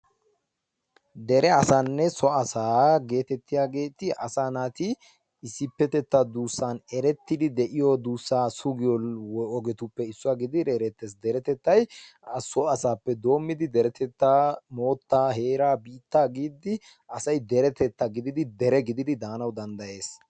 dere asaanne so asa getetiyaageti asa naati issippetetta duusssan eretiddi de'iyo duussa sugiyoogeetuppe issuwaa gidid erettees; deretatay so asaappe doommidi deretettaa, moottaa, heeraa, biittaa giidi asay deretettaa gidid dere gididi daanawu danddayes.